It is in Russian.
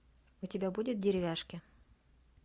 у тебя будет деревяшки